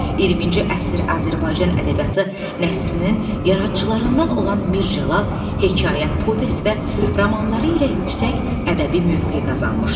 20-ci əsr Azərbaycan ədəbiyyatı nəsrinin yaradıcılarından olan Mir Cəlal hekayə, povest və romanları ilə yüksək ədəbi mövqe qazanmışdır.